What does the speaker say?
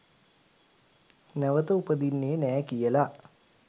නැවත උපදින්නෙ නෑ කියලා.